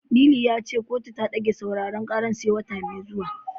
Lili ya ce kotu ta ɗage sauraren karar sai wata mai zuwa.